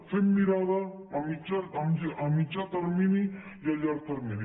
fem mirada a mitjà termini i a llarg termini